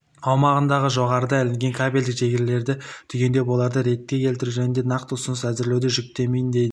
аумағындағы жоғарыда ілінген кабельдік желілерді түгендеп оларды ретке келтіру жөнінде нақты ұсыныс әзірлеуді жүктеймін деді